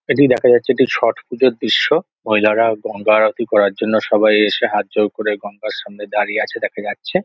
এটি দেখা যাচ্ছে একটি ছট পুজোর দৃশ্য মহিলারা গঙ্গা আরতি করার জন্য সবাই এসে হাত জোড় করে গঙ্গার সামনে দাঁড়িয়ে আছে দেখা যাচ্ছে।